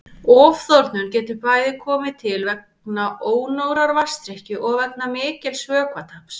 Ofþornun getur bæði komið til vegna ónógrar vatnsdrykkju og vegna mikils vökvataps.